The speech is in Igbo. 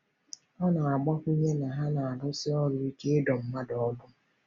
Ọ na-agbakwunye na ha na-arụsi ọrụ ike ịdọ mmadụ ọdụ.